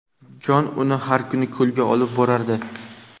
Jon uni har kuni ko‘lga olib borardi.